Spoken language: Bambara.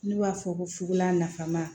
N'u b'a fɔ ko fukolan nafama